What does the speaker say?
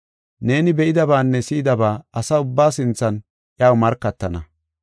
Neeni be7idabaanne si7idaba asa ubbaa sinthan iyaw markatana.